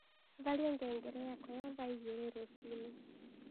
tharĩa ngengere yakwa ya thaaĩgĩrĩ rũcĩĩnĩ